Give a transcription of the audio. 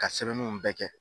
Ka sɛbɛnunw bɛɛ kɛ.